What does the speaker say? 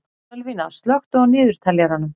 Sölvína, slökktu á niðurteljaranum.